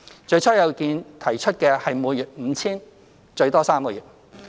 最初有意見提出的是每月 5,000 元，最多3個月。